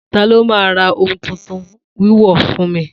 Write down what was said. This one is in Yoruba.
Ta ló ma ra ohun tuntun ni wíwọ̀ fún mi?